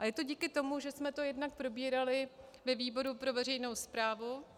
A je to díky tomu, že jsme to jednak probírali ve výboru pro veřejnou správu.